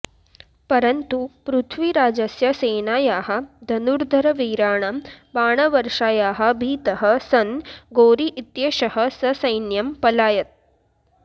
परन्तु पृथ्वीराजस्य सेनायाः धनुर्धरवीराणां बाणवर्षायाः भीतः सन् घोरी इत्येषः ससैन्यं पलायत्